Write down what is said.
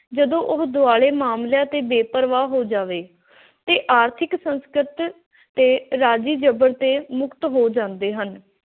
ਜਦੋਂ ਉਹ ਦੁਆਲੇ ਮਾਮਲਿਆਂ ਤੇ ਬੇਪਰਵਾਹ ਹੋ ਜਾਵੇ ਤੇ ਆਰਥਿਕ ਸੰਕਟ ਅਤੇ ਰਾਜੀ ਜ਼ਬਰ ਤੇ ਮੁਕਤ ਹੋ ਜਾਂਦੇ ਹਨ।